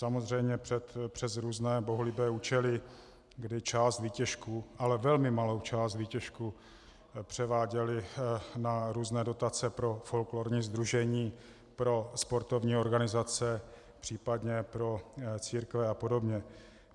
Samozřejmě přes různé bohulibé účely, kdy část výtěžku, ale velmi malou část výtěžku, převáděly na různé dotace pro folklorní sdružení, pro sportovní organizace, případně pro církve a podobně.